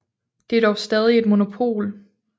Det er dog stadig et monopol